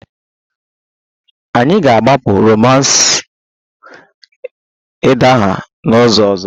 Anyị ga-agbapụ romance idaha n'izu ọzọ